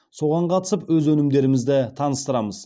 соған қатысып өз өнімдерімізді таныстырамыз